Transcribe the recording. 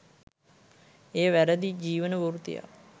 එය වැරැදි ජීවන වෘත්තියක්